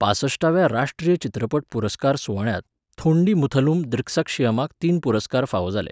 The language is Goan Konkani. पांसश्टाव्या राष्ट्रीय चित्रपट पुरस्कार सुवाळ्यांत थोंडीमुथलुम दृक्सक्षीयमाक तीन पुरस्कार फावो जाले.